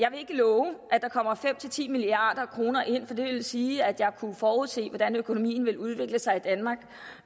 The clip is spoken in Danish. love at der kommer fem ti milliard kroner ind for det ville sige at jeg kunne forudse hvordan økonomien vil udvikle sig i danmark og